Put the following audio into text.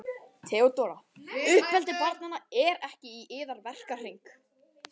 THEODÓRA: Uppeldi barnanna er ekki í yðar verkahring.